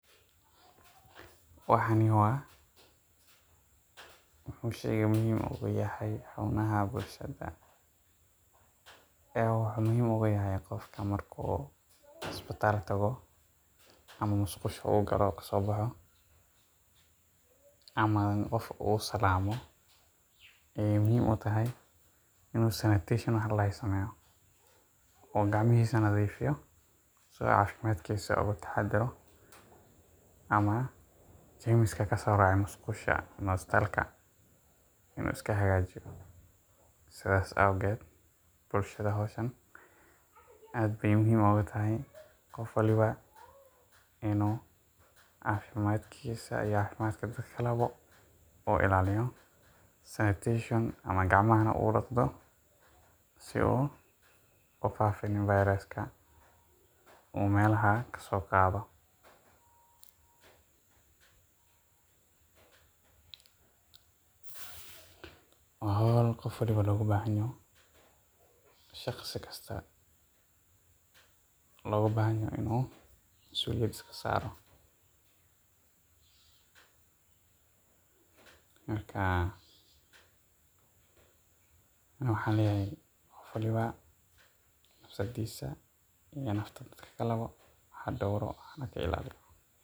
Wuxuu muhiim ugu yahay qofka markuu isbitaal tago ama musqusha ugalo kasoo boxo ama qof usalaamo ayeey muhiim utahay inuu sanitation wax ladahaayo usameeyo oo gacmihiisa unadhiifiyo si uu caafimaadkiisa ugu taxadiro ama jarmiski kasoo raacay musqusha ama istaalka inuu iska hagaajiyo sidaas awgeed bulshada howshaan aad bay muhiim ugutahay qof waliba inuu caafimaadkiisa iyo caafimaadka dadka kalebo uu ilaaliyo sanitation ama gacmahaba udaqdo siduu ufaafinin viruska uu melaha kasoo qaado. Waa howl qof waliba looga baahanyaho shaqsi kasta loogu baahanyaho inuu masuulyad iska saaro. Markaa ani waxaan leeyahay qof waliba nafsadiisa iyo nafta dadka kalabo ha dowro hana ka ilaaliyo.